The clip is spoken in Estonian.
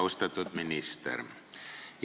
Austatud minister!